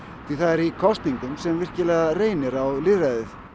því það er í kosningum sem virkilega reynir á lýðræðið